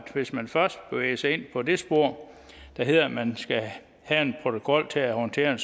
hvis man først bevæger sig ind på det spor der hedder at man skal have en protokol til at håndtere